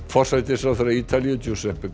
forsætisráðherra Ítalíu